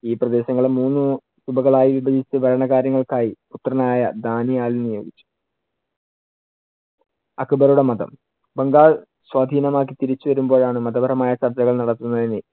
ഈ പ്രദേശങ്ങളെ മൂന്നു വിപചിച്ചുഭരണകാര്യങ്ങൾക്കായി പുത്രനായ നിയോഗിച്ചു. അക്ബറുടെ മതം, ബംഗാൾ സ്വാധീനമാക്കി തിരിച്ചുവരുമ്പോഴാണ് മതപരമായ ചർച്ചകൾ നടക്കുന്നതെന്ന്